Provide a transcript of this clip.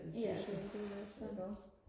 ja det er jo klart